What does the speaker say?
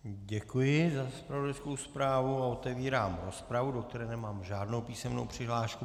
Děkuji za zpravodajskou zprávu a otevírám rozpravu, do které nemám žádnou písemnou přihlášku.